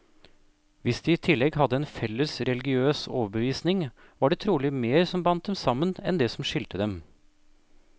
Hvis de i tillegg hadde en felles religiøs overbevisning, var det trolig mer som bandt dem sammen, enn det som skilte dem.